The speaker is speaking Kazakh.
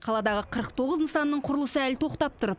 қаладағы қырық тоғыз нысанның құрылысы әлі тоқтап тұр